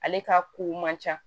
Ale ka ko man ca